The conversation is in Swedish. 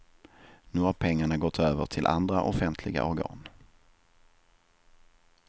Nu har pengarna gått över till andra offentliga organ.